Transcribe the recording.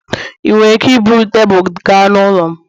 ị nwere ike iburu tebụl gaa n'ụlọ m?